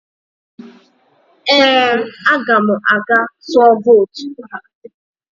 Ee, aga m aga tụọ vootu